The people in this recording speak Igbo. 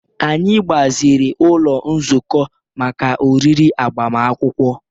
Anyị gbaziri ụlọ nzukọ maka oriri agbamakwụkwọ